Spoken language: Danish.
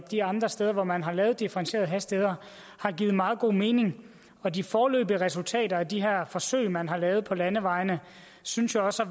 de andre steder hvor man har lavet differentierede hastigheder har givet meget god mening og de foreløbige resultater af de her forsøg man har lavet på landevejene synes jo også